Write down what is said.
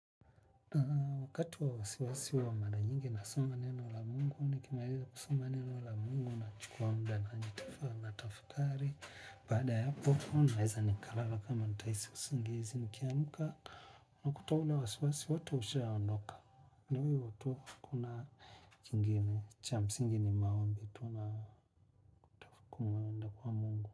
Wakati wa wasiwasi huwa mara nyingi na soma neno la mungu, nikimaliza kwa soma neno la mungu, na chukua muda na najitafa natafakari. Baada ya hapo, naweza nikalala kama nitahisi usingizi, nikiamka, nakuta ule wasiwasi wato usha ondoka. Ndi hivo tu hakuna jingine, cha msingini ni maombi, tu na kumuenda kwa mungu.